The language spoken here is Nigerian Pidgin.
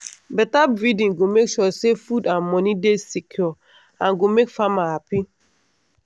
better breeding go make sure say food and money dey secure and go make farmer happy.